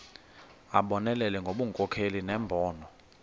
abonelele ngobunkokheli nembono